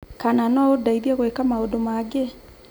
Kana no ũndeithie gwĩka maũndũ mangĩ?